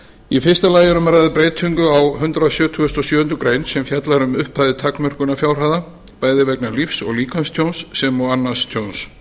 í fyrsta lagi er um að ræða breytingu á hundrað sjötugasta og sjöundu greinar sem sem fjallar um upphæðir takmörkunarfjárhæða bæði vegna lífs og líkamstjóns sem og annars tjóns